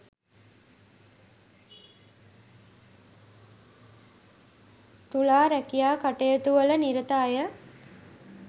තුලා රැකියා කටයුතුවල නිරත අයට